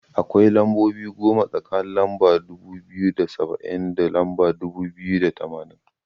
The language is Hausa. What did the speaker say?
Akwai lambobi goma tsakanin lamba dubu biyu da saba'in, da lamba dubu biyu da tamanin.